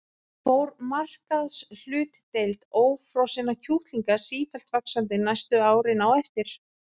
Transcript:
Fór markaðshlutdeild ófrosinna kjúklinga sífellt vaxandi næstu árin á eftir.